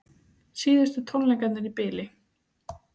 Síðustu tónleikarnir í bili